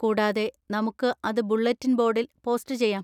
കൂടാതെ, നമുക്ക് അത് ബുള്ളറ്റിൻ ബോർഡിൽ പോസ്റ്റ് ചെയ്യാം.